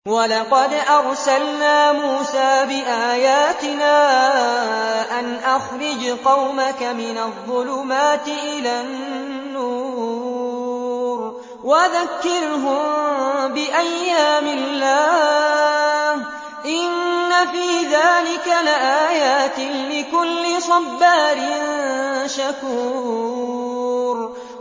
وَلَقَدْ أَرْسَلْنَا مُوسَىٰ بِآيَاتِنَا أَنْ أَخْرِجْ قَوْمَكَ مِنَ الظُّلُمَاتِ إِلَى النُّورِ وَذَكِّرْهُم بِأَيَّامِ اللَّهِ ۚ إِنَّ فِي ذَٰلِكَ لَآيَاتٍ لِّكُلِّ صَبَّارٍ شَكُورٍ